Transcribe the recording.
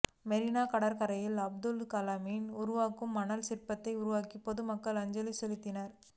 மெரினா கடற்கரையில் அப்துல் கலாமின் உருவ மணல் சிற்பத்தை உருவாக்கி பொதுமக்கள் அஞ்சலி செலுத்தினர்